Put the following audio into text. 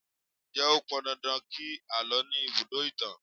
Ǹjẹ́ ó pọn dandan kí àlọ́ ní ibùdó ìtàn?